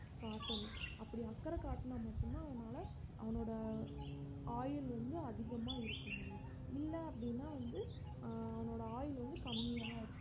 காட்டணும் அப்படி அக்கறை காட்டுனா மட்டும்தான் அவனால அவனோட ஆயுள் வந்து அதிகமா இருக்க முடியும் இல்ல அப்படின்னா வந்து அஹ் அவனோட ஆயுள் வந்து கம்மியா தான் இருக்கும்